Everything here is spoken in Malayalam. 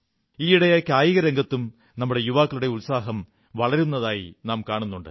ഈയിടയായി കായിക രംഗത്തും നമ്മുടെ യുവാക്കളുടെ ഉത്സാഹം വളരുന്നതായി കാണുന്നുണ്ട്